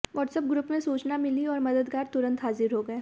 WhatsApp group में सूचना मिली और मददगार तुरंत हाजिर हो गए